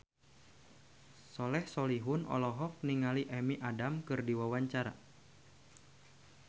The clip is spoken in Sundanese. Soleh Solihun olohok ningali Amy Adams keur diwawancara